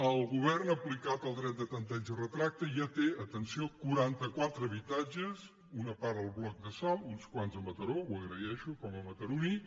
el govern ha aplicat el dret de tanteig i retracte i ja té atenció quaranta·qua·tre habitatges una part al bloc de salt uns quants a mataró ho agraeixo com a mataroní